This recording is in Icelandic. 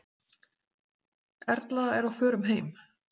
Erla er á förum heim.